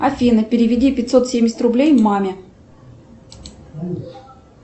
афина переведи пятьсот семьдесят рублей маме